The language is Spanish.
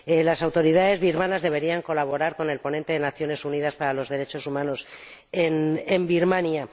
Las autoridades birmanas deberían colaborar con el relator de las Naciones Unidas para los derechos humanos en Birmania.